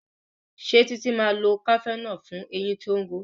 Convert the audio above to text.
Ṣe Titi má lọ cafenol fún ẹyìn tó ń ró